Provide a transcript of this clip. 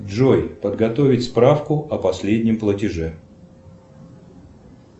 джой подготовить справку о последнем платеже